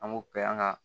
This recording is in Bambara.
An b'o kɛ an ka